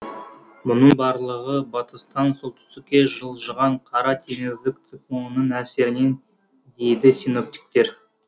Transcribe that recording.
мұның барлығы батыстан солтүстікке жылжыған қара теңіздік циклонның әсерінен дейді синоптиктер